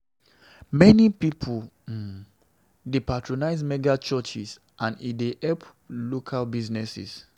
Many pipo um dey patronize mega-churches, and e dey help local businesses.